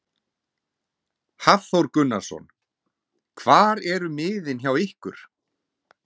Hafþór Gunnarsson: Hvar eru miðin hjá ykkur?